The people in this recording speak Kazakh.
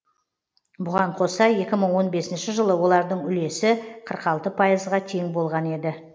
бұған қоса екі мың он бесінші жылы олардың үлесі қырық алты пайызға тең болған еді